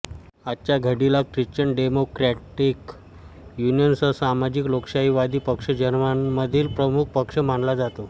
आजच्या घडीला Christian Democratic Union सह सामाजिक लोकशाहीवादी पक्ष जर्मनीमधील प्रमुख पक्ष मानला जातो